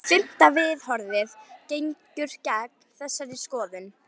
Fimmta viðhorfið gengur gegn þessari skoðun.